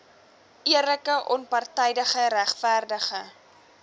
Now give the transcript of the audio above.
eerlike onpartydige regverdige